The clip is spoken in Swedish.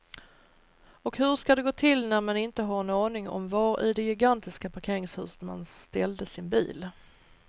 Och hur ska det gå till när man inte har en aning om var i det gigantiska parkeringshuset man ställde sin bil.